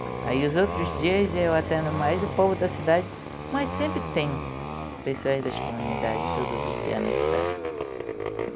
Aí os outros dias eu atendo mais o povo da cidade, mas sempre tem pessoas das comunidades todos os dias na cidade.